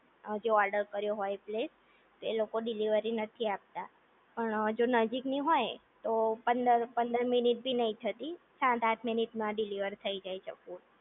જે ઓર્ડર કર્યો હોય એ પ્લેસ એ લોકો ડીલેવરી નથી આપતા પણ જો નજીકની હોય તો પંદર મિનિટ ભી નહિ થતી સાત આંઠ મિનિટ માં ડિલિવર થઈ જાય છે ફૂડ